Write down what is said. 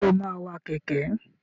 Ṣé o máa wa kẹ̀kẹ́?